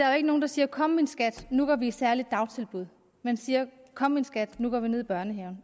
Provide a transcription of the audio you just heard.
er nogen der siger kom min skat nu går vi i særligt dagtilbud man siger kom min skat nu går vi ned i børnehaven